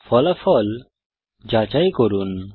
ফলাফল যাচাই করুন